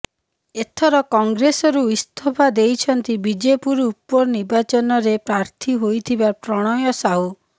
ଏଥର କଂଗ୍ରେସରୁ ଇସ୍ତଫା ଦେଇଛନ୍ତି ବିଜେପୁର ଉପନିର୍ବାଚନରେ ପ୍ରାର୍ଥୀ ହୋଇଥିବା ପ୍ରଣୟ ସାହୁ